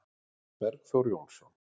Bergþór Jónsson